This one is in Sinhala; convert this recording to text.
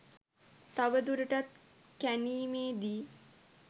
තව දුරටත් කැණීමේ දී